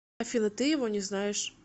афина ты его не знаешь